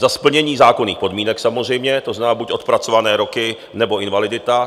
Za splnění zákonných podmínek, samozřejmě, to znamená buď odpracované roky, nebo invalidita.